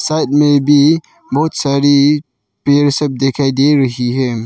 Side मे भी बहोत सारी पेड़ सब दिखाई दे रही है।